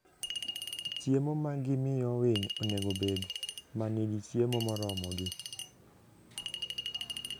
Chiemo ma gimiyo winy onego obed ma nigi chiemo moromogi.